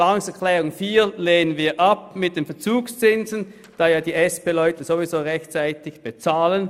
Die Planungserklärung 4 mit den Verzugszinsen lehnen wir ab, da die SP-Leute ja ohnehin rechtzeitig bezahlen.